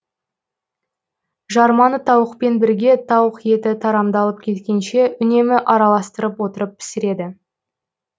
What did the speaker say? жарманы тауықпен бірге тауық еті тарамдалып кеткенше үнемі араластырып отырып пісіреді